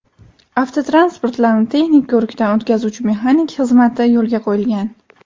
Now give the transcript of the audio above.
Avtotransportlarni texnik ko‘rikdan o‘tkazuvchi mexanik xizmati yo‘lga qo‘yilgan.